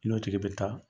I n'o tigi bɛ taa